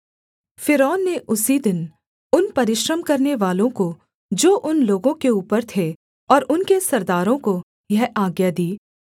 फ़िरौन ने उसी दिन उन परिश्रम करवानेवालों को जो उन लोगों के ऊपर थे और उनके सरदारों को यह आज्ञा दी